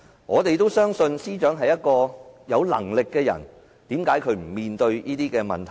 我們都相信司長是有能力的人，但為何她不肯面對這些問題？